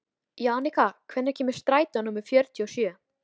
Jannika, hvenær kemur strætó númer fjörutíu og sjö?